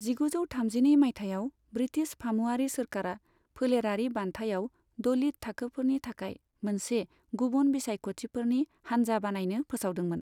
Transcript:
जिगुजौ थामजिनै माइथायाव, ब्रिटिश फामुवारि सोरखारा फोलेरारि बान्थायाव दलित थाखोफोरनि थाखाय मोनसे गुबुन बिसायख'गिरिफोरनि हानजा बानायनो फोसावदोंमोन।